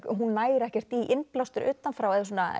hún nær ekkert í innblástur utan frá